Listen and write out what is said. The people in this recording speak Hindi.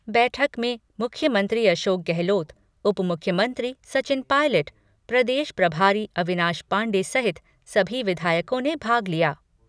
बैठक में मुख्यमंत्री अशोक गहलोत, उप मुख्यमंत्री सचिन पायलट, प्रदेश प्रभारी अविनाश पांडे सहित सभी विधायकों ने भाग लिया।